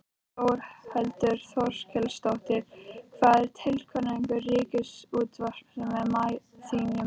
Þórhildur Þorkelsdóttir: Hver er tilgangur Ríkisútvarpsins að þínu mati?